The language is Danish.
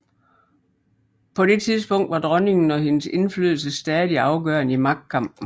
På dette tidspunkt var dronningen og hendes indflydelse stadig afgørende i magtkampen